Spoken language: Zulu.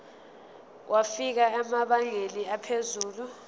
wafika emabangeni aphezulu